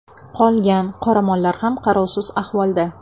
Qolgan qoramollari ham qarovsiz ahvolda.